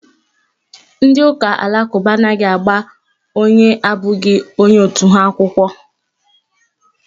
Ndị ụka alakụba anaghị agba onye abụghị onye otu ha akwụkwọ.